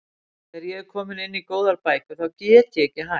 Þegar ég er komin inn í góðar bækur þá get ég ekki hætt.